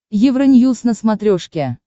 евроньюз на смотрешке